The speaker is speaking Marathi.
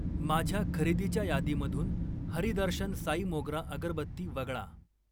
माझ्या खरेदीच्या यादीमधून हरी दर्शन साई मोगरा अगरबत्ती वगळा.